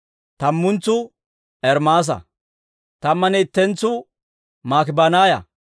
tammantsuu Ermaasa; tammanne ittentsu Maakibanaaya.